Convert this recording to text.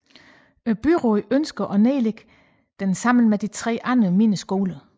Byrådet ønsker at nedlægge den sammen med 3 andre mindre skoler